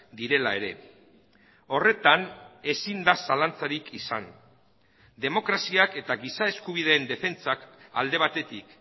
direla ere horretan ezin da zalantzarik izan demokraziak eta giza eskubideen defentsak alde batetik